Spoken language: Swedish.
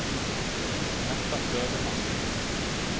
Märta Söderman